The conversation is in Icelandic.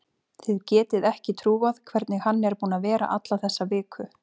Þið getið ekki trúað hvernig hann er búinn að vera alla þessa viku.